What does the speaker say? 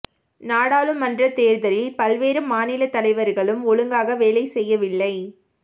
நாடாளுமன்ற தேர்தலில் பல்வேறு மாநில தலைவர்களும் ஒழுங்காக வேலை செய்யவில்லை